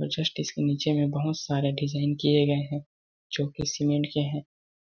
और जस्ट इसके नीचे में बहुत सारे डिजाइन किए गए है जो कि सीमेंट के है